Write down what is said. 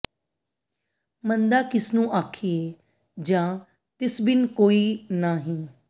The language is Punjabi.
ਮੰਦਾ ਕਿਸ ਨੂੰ ਆਖੀਐ ਜਾਂ ਤਿਸ ਬਿੰਨ ਕੋਈ ਨਾ ਹੀ